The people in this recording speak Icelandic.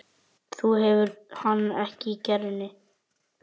Þú hefur hann í kerrunni, já.